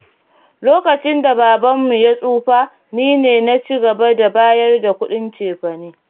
Lokacin da Babanmu ya tsufa, nine na ci gaba da bayar da kuɗin cefane.